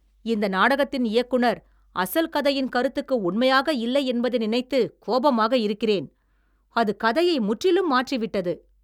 இந்த நாடகத்தின் இயக்குநர் அசல் கதையின் கருத்துக்கு உண்மையாக இல்லை என்பதை நினைத்து கோபமாக இருக்கிறேன். அது கதையை முற்றிலும் மாற்றிவிட்டது.